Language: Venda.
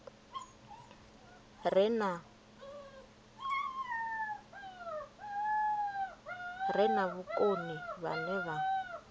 re na vhukoni vhane vha